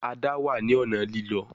Ada wá ní ọnà Lílọ